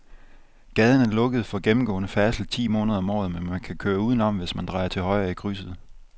Gaden er lukket for gennemgående færdsel ti måneder om året, men man kan køre udenom, hvis man drejer til højre i krydset.